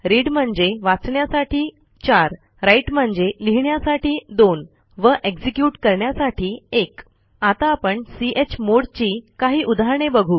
read म्हणजे वाचण्यासाठी 4 write म्हणजे लिहिण्यासाठी 2 व एक्झिक्युट करण्यासाठी 1 आता आपण चमोड ची काही उदाहरणे बघू